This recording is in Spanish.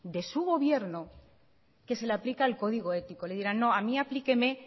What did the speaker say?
de su gobierno que se le aplica el código ético le dirán no a mí aplíqueme